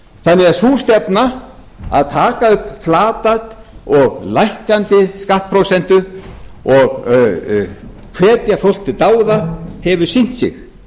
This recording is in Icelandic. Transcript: ánægjulegt sú stefna að taka upp flata og lækkandi skattprósentu og hvetja fólk til dáða hefur sýnt sig